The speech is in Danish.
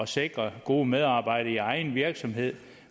sikre gode medarbejdere i egen virksomhed